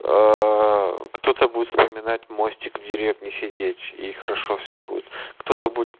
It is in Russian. аа кто-то будет вспоминать мостик в деревне сидеть и хорошо все будет кто то будет